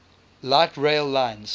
light rail lines